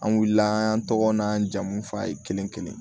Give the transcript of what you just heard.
An wulila an tɔgɔ n'an jamu f'a ye kelen kelen